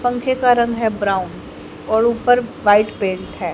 पंखे का रंग है ब्राउन और ऊपर व्हाइट पेंट हैं।